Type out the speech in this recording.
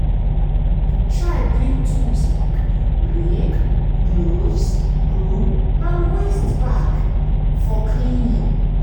bring tools like rake gloves broom and waste bag waste bag for cleaning.